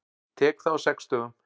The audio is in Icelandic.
Tek það á sex dögum.